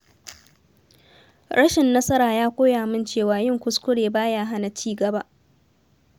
Rashin nasara ya koya min cewa yin kuskure ba ya hana ci gaba.